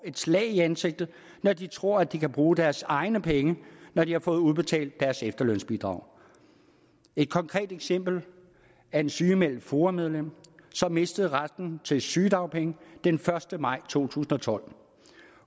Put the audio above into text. et slag i ansigtet når de tror at de kan bruge deres egne penge når de har fået udbetalt deres efterlønsbidrag et konkret eksempel er et sygemeldt foa medlem som mistede retten til sygedagpenge den første maj to tusind og tolv